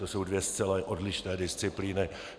To jsou dvě zcela odlišné disciplíny.